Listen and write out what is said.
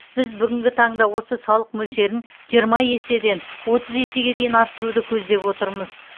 біз бүгінгі таңда осы салық мөлшерін жиырма еседен отыз есеге дейін арттыруды көздеп отырмыз